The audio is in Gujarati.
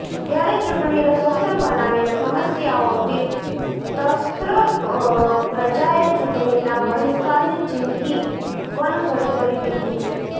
ત્યારે ચૂંટણીને શસ્ત્ર બનાવીને સમસ્યાઓથી ત્રસ્ત પ્રજાએ ચૂંટણીના બહિષ્કારની ચિમકી આપવાનું શરૂ કરી દીધું છે